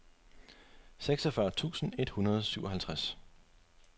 seksogfyrre tusind et hundrede og syvoghalvtreds